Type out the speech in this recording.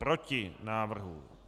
Proti návrhu.